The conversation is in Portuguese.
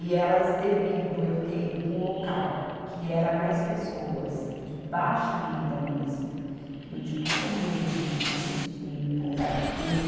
E elas, devido eu ter ido para um local que era mais pessoas, de baixa renda mesmo, que não tinham o que comer, não tinham o que vestir, para um lugar daquele.